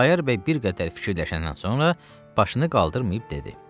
Xudayar bəy bir qədər fikirləşəndən sonra başını qaldırmayıb dedi: